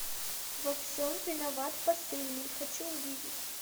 во всем виноват посыльный хочу увидеть